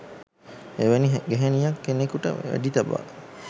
එවැනි ගැහැනියක් කෙනෙකුට වෙඩි තබා